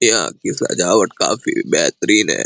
यहाँ की सज़ावत काफ़ी बहतरीन है।